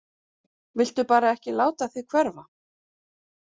Viltu bara ekki láta þig hverfa?